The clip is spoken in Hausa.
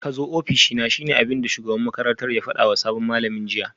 Kazo ofishina shine abinda shugaban makarantar ya fadawa sabon malamin jiya